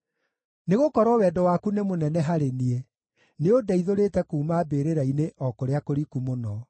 Nĩgũkorwo wendo waku nĩ mũnene harĩ niĩ; nĩũndeithũrĩte kuuma mbĩrĩra-inĩ o kũrĩa kũriku mũno.